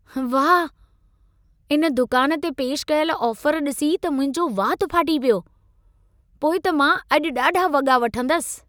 वाह! इन दुकान ते पेश कयल ऑफर ॾिसी त मुंहिंजो वात फ़ाटी पियो! पोइ त मां अॼु ॾाढा वॻा वठंदसि।